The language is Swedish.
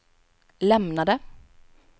lämnade